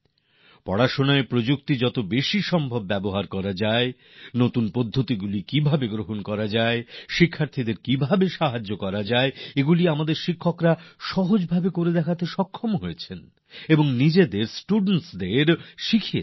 পড়ার কৌশলের কিভাবে বেশি করে উপযোগ করা যায় নতুন পদ্ধতিকে কিভাবে রূপায়ণ করা যায় কিভাবে ছাত্রদের সহায়তা করা যায় এগুলি আমাদের শিক্ষকরা সহজেই আত্মস্থ করেছেন এবং নিজেদের ছাত্রছাত্রীদেরও শিখিয়েছেন